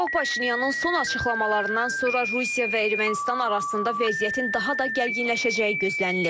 Niko Paşinyanın son açıqlamalarından sonra Rusiya və Ermənistan arasında vəziyyətin daha da gərginləşəcəyi gözlənilir.